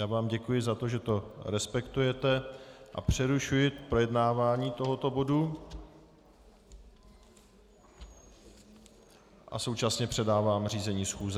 Já vám děkuji za to, že to respektujete, a přerušuji projednávání tohoto bodu a současně předávám řízení schůze.